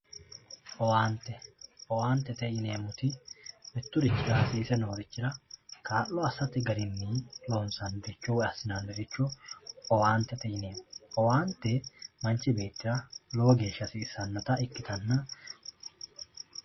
owaante owaantete yineemoti miturichira hasiise noorichira kaa'lo assate garinni loonsaniricho woye assinanniricho owaantete yinanni awaante manch beettira lowo geshsha hasissannota ikkitanna